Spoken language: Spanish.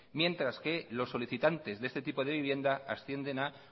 mientras que los solicitantes de este tipo de vivienda ascienden a